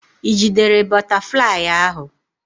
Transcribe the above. Ị jidere bụtaflịyị ahụ?